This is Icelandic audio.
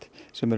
sem er